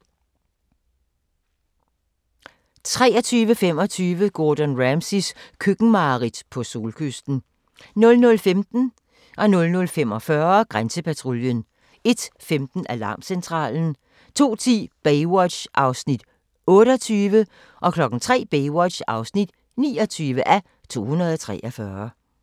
23:25: Gordon Ramsays køkkenmareridt - på solkysten 00:15: Grænsepatruljen 00:45: Grænsepatruljen 01:15: Alarmcentralen 02:10: Baywatch (28:243) 03:00: Baywatch (29:243)